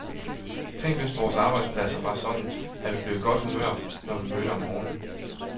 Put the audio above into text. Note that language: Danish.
Tænk, hvis vores arbejdspladser var sådan, at vi blev i godt humør, når vi mødte om morgenen.